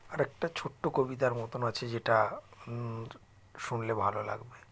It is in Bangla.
আরেকটা ছোট্টো কবিতার মতো আছে যেটা ম শুনলে ভালো লাগবে